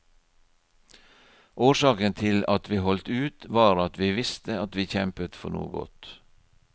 Årsaken til at vi holdt ut var at vi visste at vi kjempet for noe godt.